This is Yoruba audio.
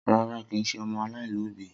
Rara, kii ṣe ọmọ alaialobi.